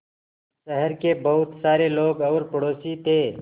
शहर के बहुत सारे लोग और पड़ोसी थे